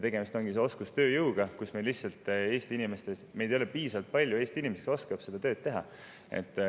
Tegemist ongi oskustööjõuga, meil ei ole piisavalt palju Eesti inimesi, kes oskavad seda tööd teha.